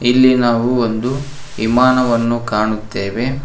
ಇಲ್ಲಿ ನಾವು ಒಂದು ಇಮಾನವನ್ನು ಕಾಣುತ್ತೇವೆ.